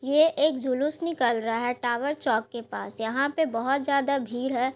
ये एक जुलुस निकल रहा है टावर चौक के पास। यहां पे बहोत ज्यादा भीड़ है।